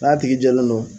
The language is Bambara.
N'a tigi jɛlen no